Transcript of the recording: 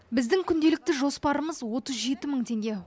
біздің күнделікті жоспарымыз отыз жеті мың теңге